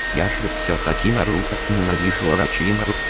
я же все таки наруто ненавижу орочимару